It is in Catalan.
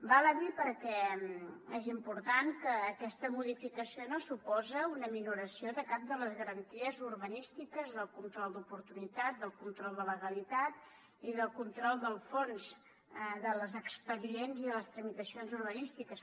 val a dir perquè és important que aquesta modificació no suposa una minoració de cap de les garanties urbanístiques del control d’oportunitat del control de legalitat ni del control del fons dels expedients i les tramitacions urbanístiques